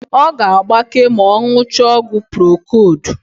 Ọ ga-agbake ma ọ ṅụchaa ọgwụ prokodu.